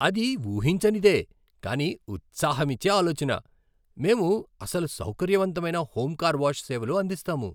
అది ఊహించనిదే కానీ ఉత్సాహమిచ్చే ఆలోచన! మేము అసలు సౌకర్యవంతమైన హోమ్ కార్ వాష్ సేవలు అందిస్తాము.